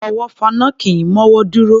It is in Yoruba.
Afọwọ́fọnná kì í mọ́wọ́ dúró